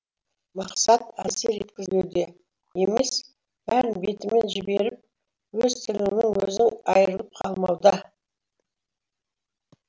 мақсат әсер еткізбеуде емес бәрін бетімен жіберіп өз тіліңнен өзің айырылып қалмауда